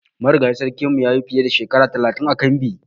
Marigayin sarkin mu ya yi fiye da Shekara talatin ã kambi.